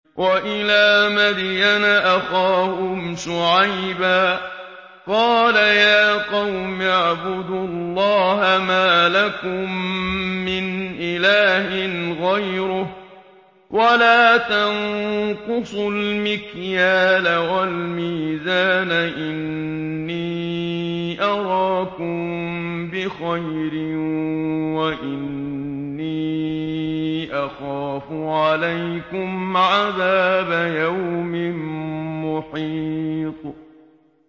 ۞ وَإِلَىٰ مَدْيَنَ أَخَاهُمْ شُعَيْبًا ۚ قَالَ يَا قَوْمِ اعْبُدُوا اللَّهَ مَا لَكُم مِّنْ إِلَٰهٍ غَيْرُهُ ۖ وَلَا تَنقُصُوا الْمِكْيَالَ وَالْمِيزَانَ ۚ إِنِّي أَرَاكُم بِخَيْرٍ وَإِنِّي أَخَافُ عَلَيْكُمْ عَذَابَ يَوْمٍ مُّحِيطٍ